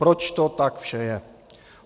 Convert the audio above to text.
Proč to tak vše je?